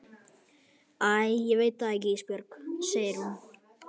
Æ ég veit það ekki Ísbjörg, segir hún.